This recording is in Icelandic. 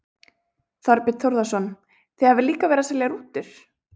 Þorbjörn Þórðarson: Þið hafið líka verið að selja rútur?